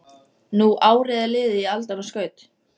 Nú árið er liðið í aldanna skaut